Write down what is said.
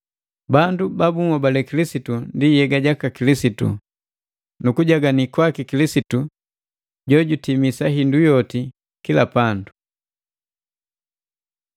Bandu ba bunhobale Kilisitu ndi Yega jaka Kilisitu, nu utimilifu waki Kilisitu jojutimisa hindu yoti kila pandu.